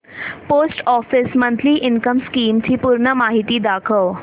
post office monthly income scheme ची पूर्ण माहिती दाखव